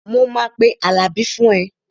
Mo máa pe Àlàbí fún ẹ